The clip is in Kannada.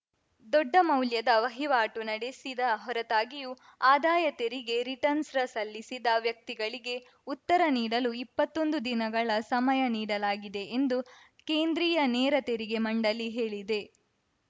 ದೊಡ್ಡ ಮೌಲ್ಯದ ವಹಿವಾಟು ನಡೆಸಿದ ಹೊರತಾಗಿಯೂ ಆದಾಯ ತೆರಿಗೆ ರಿಟರ್ನ್ಸ್ ರ ಸಲ್ಲಿಸಿದ ವ್ಯಕ್ತಿಗಳಿಗೆ ಉತ್ತರ ನೀಡಲು ಇಪ್ಪತೊಂದು ದಿನಗಳ ಸಮಯ ನೀಡಲಾಗಿದೆ ಎಂದು ಕೇಂದ್ರೀಯ ನೇರ ತೆರಿಗೆ ಮಂಡಳಿ ಹೇಳಿದೆ